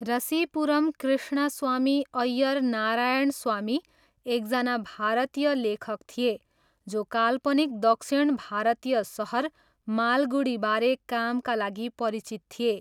रसिपुरम कृष्णस्वामी अय्यर नारायणस्वामी एकजना भारतीय लेखक थिए जो काल्पनिक दक्षिण भारतीय सहर मालगुडीबारे कामका लागि परिचित थिए।